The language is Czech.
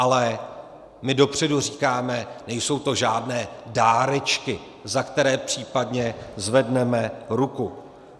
Ale my dopředu říkáme, nejsou to žádné dárečky, za které případně zvedneme ruku.